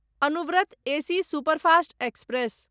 Anuvrat AC superfast express